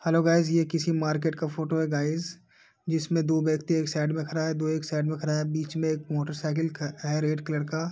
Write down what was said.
Hello guys ! ये किसी market का फोटो है गाइज जिसमें दो व्यक्ति एक साइड में खरा है दो एक साइक में खरा हैं बीच में एक मोटरसाइकिल ख है रेड कलर का।